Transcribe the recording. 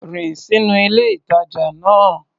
Rìn sínú ilé-ìtàjà náà.